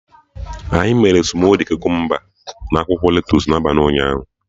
Anyị mere smudi Kukumba na akwụkwọ lettusu n'abalị ụnyaahụ